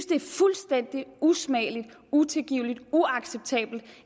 det er fuldstændig usmageligt utilgiveligt uacceptabelt